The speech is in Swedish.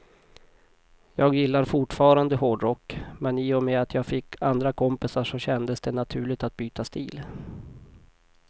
Jag gillar fortfarande hårdrock, men i och med att jag fick andra kompisar så kändes det naturligt att byta stil.